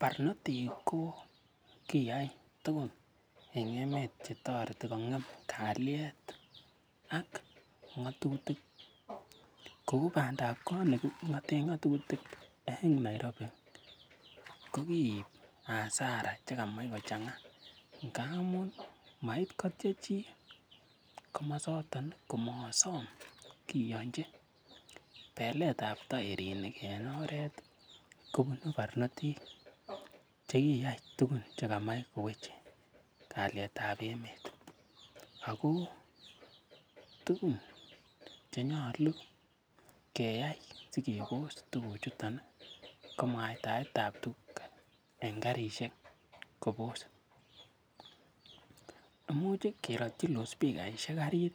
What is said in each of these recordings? Barnotik ko kiyai tugun en emet ch etoreti kong'em kalyet ak ng'atutik kou bandap kot ne king'oten ng'atutik en Nairobi kokiib hasara chekamach kochang'a ngamun ma ibkotyech chi komasoton komosom kiyonchi. Belet ab taerinik en oret kobunu barnotik che kiyai tugun chekamach koweche kalyet ab emet, ago tuguk chenyolu keyai sikebos tuguuchuto ko mwaitaet ab tuguchu en karisiek kobos imuchi kerotyi loudspeaker karit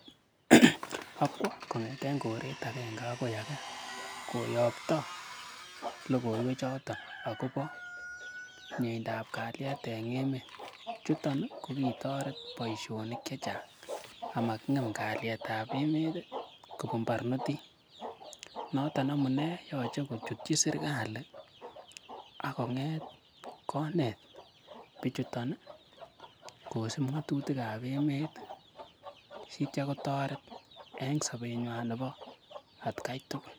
ak kwo kong'eten koret agenge agoi age koyokto logoiwek choto agobo miendap kalyet en emet. Chuton kogitoret boisionik chechang ama king'em kalyet ab emet kobun barnotik noton amune yoche kochutchi serkalit akkong'et konet bichuton kosib ng'atutik ab emet sityo kotoret en sobenywan nebo atkai tugul.